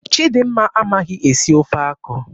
Chidimma amaghị esi ofe akwụ.